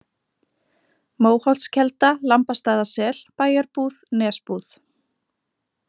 Móholtskelda, Lambastaðasel, Bæjarbúð, Nesbúð